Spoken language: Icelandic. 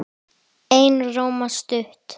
Einróma stutt.